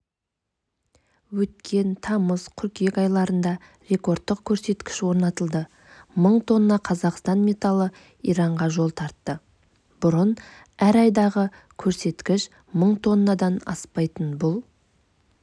өткен тамыз-қыркүйек айларында рекордтық көрсеткіш орнатылды мың тонна қазақстан металы иранға жол тартты бұрын әр айдағы көрсеткіш мың тоннадан аспайтын бұл